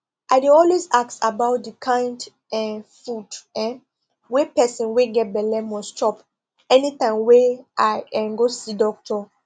i dey always ask about the kind um food[um]wey person wey get belle must chop anytime wey i um go see doctor